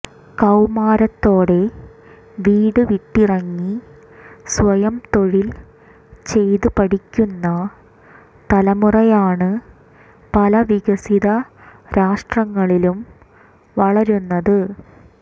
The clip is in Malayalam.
കൌമാരത്തോടെ വീട് വിട്ടിറങ്ങി സ്വയം തൊഴിൽ ചെയ്ത് പഠിക്കുന്ന തലമുറയാണ് പല വികസിത രാഷ്ട്രങ്ങളിലും വളരുന്നത്